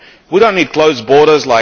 We do not need closed borders.